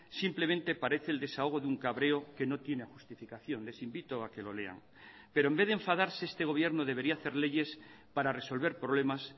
simplemente parece el desahogo de un cabreo que no tiene justificación les invito a que lo lean pero en vez de enfadarse este gobierno debería hacer leyes para resolver problemas